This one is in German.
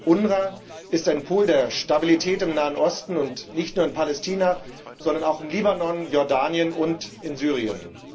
UNRWA ist ein Pol der Stabilität im Nahen Osten, nicht nur in Palästina, sondern auch in Libanon, Jordanien und Syrien.